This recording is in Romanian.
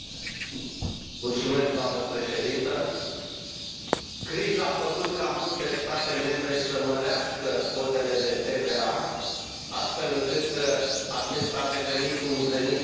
Criza a făcut ca multe state membre să mărească cotele de TVA, astfel încât acesta a devenit un venit și mai important al bugetelor statelor membre.